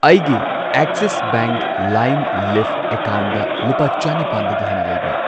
ꯑꯩꯒꯤ Axis bank ꯂꯥꯏꯝ ꯂꯤꯐ ꯑꯦꯀꯥꯎꯟꯠꯗ ꯂꯨꯄꯥ ꯆꯅꯤꯄꯥꯟꯗꯒꯤ ꯍꯦꯟꯅ ꯂꯩꯕ꯭ꯔꯥ꯫